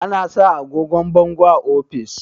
ana sa agogon bangon a ofis